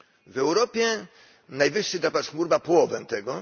W Europie najwyższy drapacz chmur ma połowę tego.